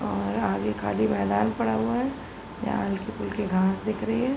और आगे खाली मैदान पड़ा हुआ है। यहाँ हलके-फुल्के घांस दिख रही हैं।